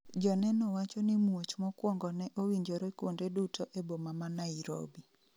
joneno wacho ni muoch mokwongo ne owinjore kuonde duto e boma ma Nairobi